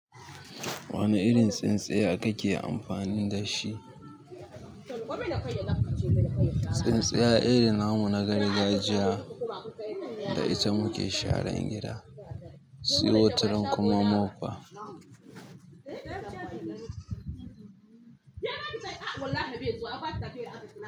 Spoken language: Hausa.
Wane irin tsintsiya kake amfani da shi? Tsintsiya irin namu na gargajiya da ita muke sharan gida, se wataran kuma mofa.